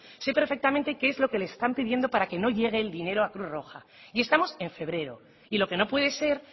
sé perfectamente qué es lo que les están pidiendo para que no llegue el dinero a cruz roja y estamos en febrero y lo que no puede ser